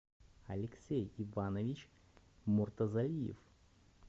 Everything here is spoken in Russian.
алексей иванович муртазалиев